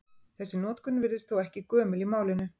Þessi notkun virðist þó ekki gömul í málinu.